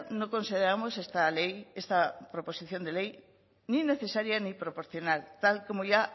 no consideramos esta ley esta proposición de ley ni necesaria ni proporcional tal como ya